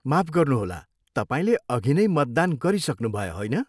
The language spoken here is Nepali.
माफ गर्नुहोला, तपाईँले अघिनै मतदान गरिसक्नुभयो, होइन?